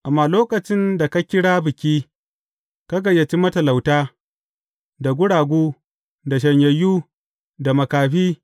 Amma lokacin da ka kira biki, ka gayyaci matalauta, da guragu, da shanyayyu, da makafi.